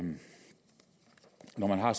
når man har